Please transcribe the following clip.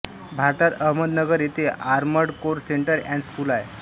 भारतात अहमदनगर येथे armoured corps centre and school आहे